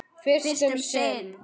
Fyrst um sinn.